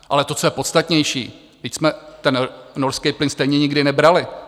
Ale to, co je podstatnější, vždyť jsme ten norský plyn stejně nikdy nebrali.